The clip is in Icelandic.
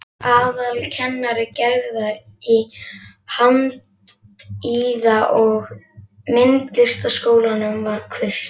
Aðalkennari Gerðar í Handíða- og myndlistaskólanum var Kurt